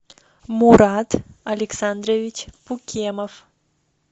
мурат александрович пукемов